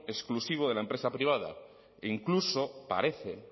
exclusivo de la empresa privada e incluso parece